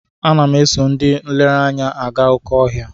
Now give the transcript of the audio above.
Ana m eso ndị nlereanya aga oké ọhịa.